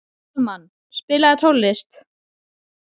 Kalman, spilaðu tónlist.